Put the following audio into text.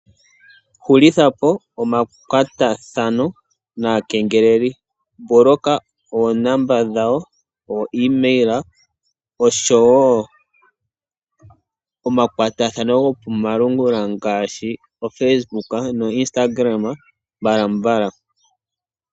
Hulithapo omakwatathano naakengeleli mboloka oonomola dhawo , oo email oshowo omakwatathano gokomalungula ngaashi oFacebook no Instagram mbalambala.